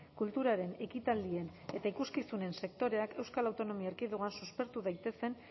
kulturaren ekitaldien eta ikuskizunen sektoreak euskal autonomia erkidegoan suspertu daitezen